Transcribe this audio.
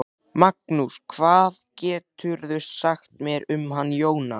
Magnús: Hvað geturðu sagt mér um hann Jónsa?